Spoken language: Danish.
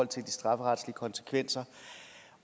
til de strafferetlige konsekvenser